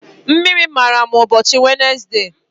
Mmiri mara m ụbọchị Wenesde.